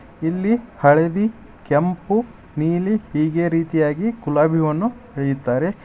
ಇಲ್ಲಿ ಹಳದಿ ಕೆಂಪು ನೀಲಿ ಹೀಗೆ ರೀತಿಯಾಗಿ ಗುಲಾಬಿ ಹೂವನ್ನು ಬೆಳೆಯುತ್ತಾರೆ ಇ --